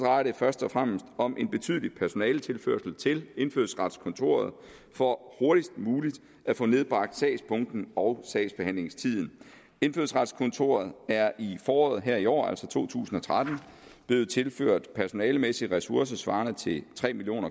først og fremmest om en betydelig personaletilførsel til indfødsretskontoret for hurtigst muligt at få nedbragt sagsbunken og sagsbehandlingstiden indfødsretskontoret er i foråret her i år altså to tusind og tretten blevet tilført personalemæssige ressourcer svarende til tre million